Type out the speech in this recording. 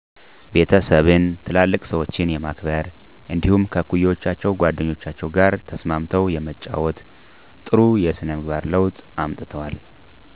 ቤተሰብን፣ ትላልቅ ሰዎችን የማክበር እንዲደሁም ከእኩዮቻቸው ጓደኞቻቸው ጋር ተስማምው የመጫወት ጥሩ ስነ የስነ ምግባር ለውጥ አምጥተዋል